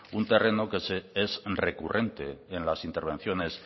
un terreno que es recurrente en las intervenciones